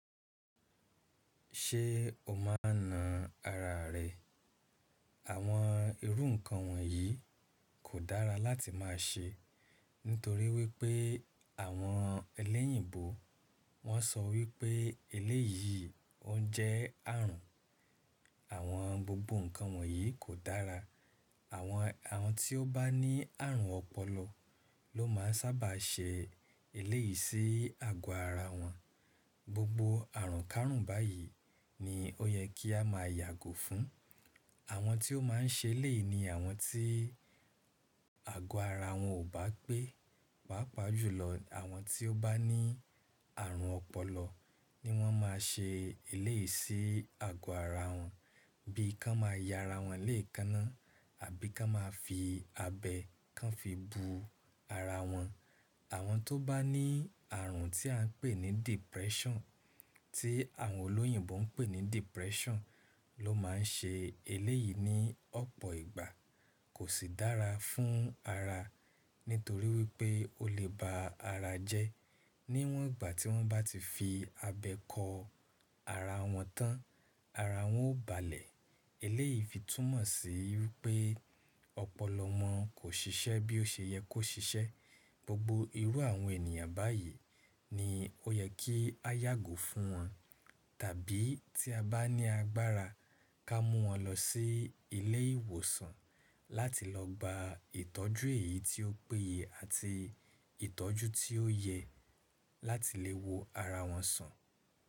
Ṣé o máa n na ara rẹ? Àwọn irú nǹkan wọ̀nyí kò dára láti máa ṣe nítorí wípé àwọn ẹlẹ́yìnbo wọn sọ wípé eléyìí ó jẹ́ ààrùn. Àwọn gbogbo nǹkan wọ̀nyí kò dára. Àwọn, àwọn tí ó bá ní ààrùn ọpọlọ ló máa sábà ṣe eléyìí sí àgọ́ ara wọn. Gbogbo àrùn kárùn báyìí ni ó yẹ kí a máa yàgòó fún. Àwọn tí ó máa ń ṣe eléyìí ni àwọn tí àgọ́ ara wọn ò bá pé. Pàpàjùlọ àwọn tí ó bá ní ààrùn ọpọlọ ni wọ́n máa ṣe eléyìí sí àgọ́ ara wọn bí kán máa ya ara wọn lé káná àbí kán máa fi abẹ kán fi bu ara wọn. Àwọn tó bá ní ààrùn tí à ń pè ní depression tí àwọn olóyìnbo ń pè ní depression ló máa ń ṣe eléyìí ní ọ̀pọ̀ ìgbà. Kò sì dára fún ara nítorí wípé ó lè ba ara jẹ́. Ni wọ́n ìgbà tí wọ́n bá ti fi abẹ kọ ara wọn tán, ara wọn ó balẹ̀. Eléyìí fi túmọ̀ sí wípé ọpọlọ wọn kò ṣiṣẹ́ bí ó ṣe yẹ kó ṣiṣẹ́. Gbogbo irú àwọn ènìyàn báyìí ni ó yẹ kí a yàgòó fún wọn. Tàbí tí a bá ní agbára ka mú wọn lọsí ilé ìwòsàn láti lọ gba ìtọ́jú èyí tí ó péye àti ìtọ́jú tí ó yẹ láti lè wo ara wọn sàn.